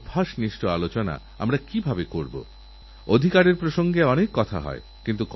অ্যাণ্টিবায়োটিকের কর্মক্ষমতাকে নষ্ট করে দিচ্ছে তাই এই ঔষধগুলি ওইসবরোগজীবানুকে মারতে অক্ষম হচ্ছে